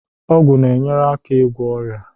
Ọgwụ na-enyere aka ịgwọ ọrịa